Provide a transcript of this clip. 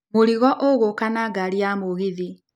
mũrigo ũgũka na ngaari ya mũgithi.